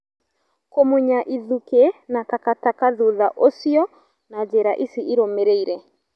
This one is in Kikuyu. Kũmunya ithukĩ na taka taka thutha ũcio na njĩra ici irũmĩrĩire